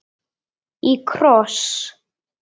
Í kross.